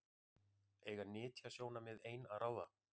Eiga nytjasjónarmið ein að ráða?